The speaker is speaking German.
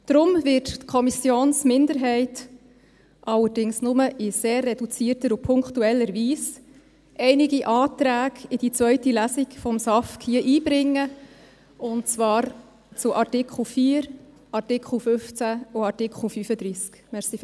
Deshalb wird die Kommissionsminderheit, allerdings nur in sehr reduzierter und punktueller Weise, einige Anträge in die zweite Lesung des SAFG hier einbringen, und zwar zu Artikel 4, Artikel 15 und Artikel 35.